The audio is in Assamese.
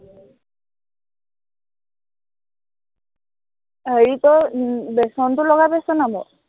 হেৰি ক উম বেচনটো লগাই পাইছ নাই বাৰু?